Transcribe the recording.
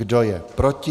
Kdo je proti?